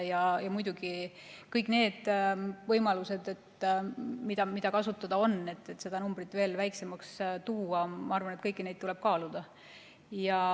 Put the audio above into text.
Ja muidugi kõik need võimalused, mis kasutada on, et seda numbrit veelgi vähendada – ma arvan, et kõiki neid tuleb kaaluda.